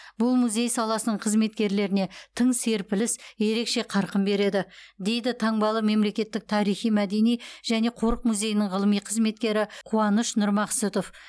бұл музей саласының қызметкерлеріне тың серпіліс ерекше қарқын береді дейді таңбалы мемлекеттік тарихи мәдени және қорық музейінің ғылыми қызметкері қуаныш нұрмақсұтов